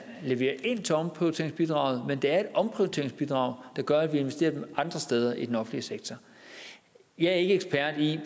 leverer ind til omprioriteringsbidraget men det er et omprioriteringsbidrag der gør at vi investerer nogle andre steder i den offentlige sektor jeg er ikke ekspert i